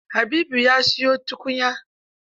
Habibu ya siyo tukunyar?